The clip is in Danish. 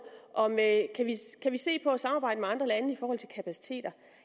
om at se på at samarbejde med andre lande i forhold til kapacitet